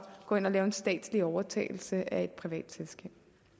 gå ind og lave en statslig overtagelse af et privat selskab